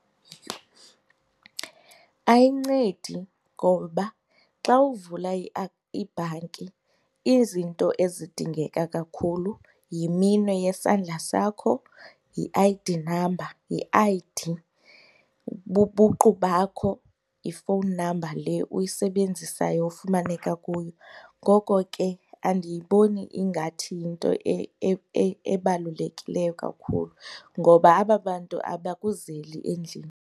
Ayincedi ngoba xa uvula ibhanki izinto ezidingeka kakhulu yiminwe yesandla sakho, yi-I_D number, yi-I_D, bubuqu bakho, yi-phone number le uyisebenzisayo ufumaneka kuyo. Ngoko ke andiyiboni ingathi yinto ebalulekileyo kakhulu ngoba aba bantu abakuzeli endlini.